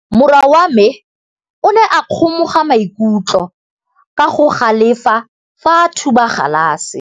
Morwa wa me o ne a kgomoga maikutlo ka go galefa fa a thuba galase.